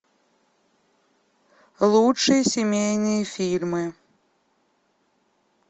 лучшие семейные фильмы